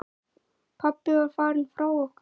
Pabbi var farinn frá okkur.